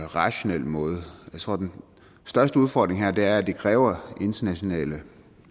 rationel måde jeg tror at den største udfordring her er at det kræver internationale